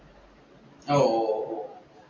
ഓ, ഒ ഓ